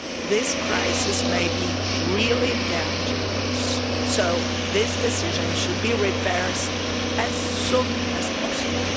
This crisis may be really dangerous so this decision should be reversed as soon as possible.